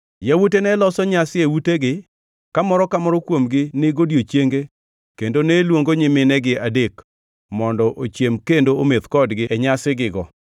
Yawuote ne loso nyasi e utegi, ka moro ka moro kuomgi ni godiechienge kendo ne luongo nyiminegi adek mondo ochiem kendo ometh kodgi e nyasigigo.